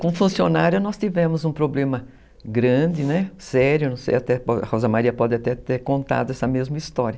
Com funcionária nós tivemos um problema grande, sério, não sei, a Rosa Maria pode até ter contado essa mesma história.